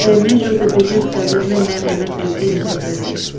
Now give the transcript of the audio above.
The image shows a business establishment name M_S_L_T enterprises.